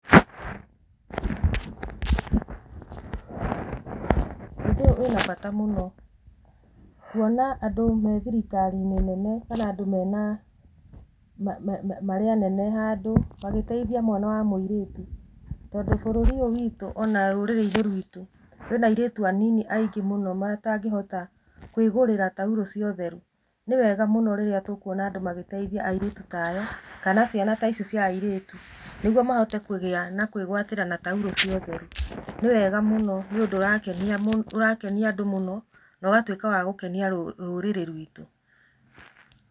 Ũndũ ũyũ wĩna bata mũno kwona andũ marĩ thirikari-inĩ nene kana andũ mena, marĩ anene handũ magĩteithia mwana wa mũirĩtu, tondũ bũrũri ũyũ witũ kana rũrĩrĩ-inĩ rũrũ ruitũ, kwĩna airĩtu anini mũno matangĩhota kwĩgũrĩra taurũ cia ũtheru, nĩ wega mũno rĩrĩa tũkwona andũ magĩteithia airĩtu taya kana ciana ta ici cia airĩtu nĩguo mahote kũgĩa na kwĩgwatĩra tauro cia ũtheru, nĩ wega mũno nĩ ũndũ ũrakenia andũ mũno na ũgatuĩka wa gũkenia rũrĩrĩ ruitũ.